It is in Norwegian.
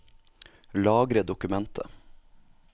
Lagre dokumentet